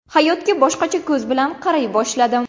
Hayotga boshqacha ko‘z bilan qaray boshladim.